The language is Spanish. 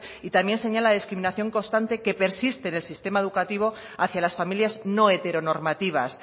y también señala la discriminación constante que persiste en el sistema educativo hacia las familias no heteronormativas